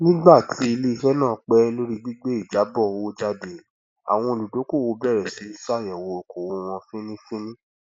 nígbà tí iléiṣẹ náà pẹ lórí gbígbé ìjábọ owó jáde àwọn olùdókòwò bẹrẹ sí í ṣàyẹwò ókòwò wọn fínífíní